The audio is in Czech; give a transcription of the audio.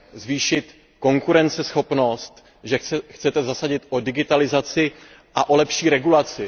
zvýšit konkurenceschopnost, že se chcete zasadit o digitalizaci a o lepší regulaci.